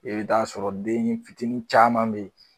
E be t'a sɔrɔ dennifitinin caman be yen